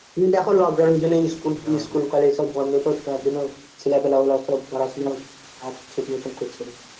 তুমি দেখো lockdown এর জন্যেই school school কলেজ সব বন্ধ তো তার জন্য ছেলেপিলা গুলো সব পড়াশোনাও আর ঠিকমতো করছে না।